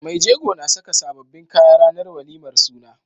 Mai jego na Saka sababbin kaya ranar walimar suna